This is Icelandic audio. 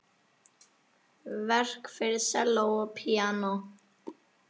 Verk fyrir selló og píanó.